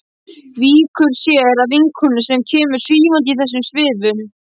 Víkur sér að vinkonu sem kemur svífandi í þessum svifum.